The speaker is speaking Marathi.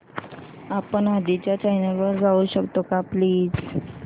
आपण आधीच्या चॅनल वर जाऊ शकतो का प्लीज